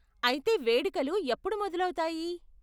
అయితే వేడుకలు ఎప్పుడు మొదలవుతాయి?